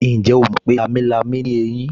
Ǹjẹ́ o ti mọ̀ pé lámilámi ò ní ẹyín